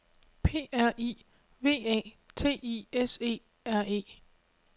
P R I V A T I S E R E